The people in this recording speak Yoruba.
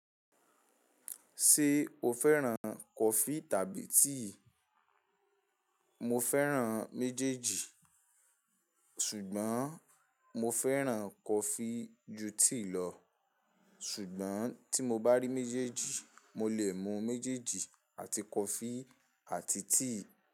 Ṣé o fẹ́ràn kọfí tàbí tíì? Mo fẹ́ràn méjèèjì, ṣùgbọ́n mo fẹ́ràn kọfí ju tíì lọ. Ṣùgbọ́n tí mo bá rí méjèèjì, mo lè mu méjèèjì àti kọfí àti tíì.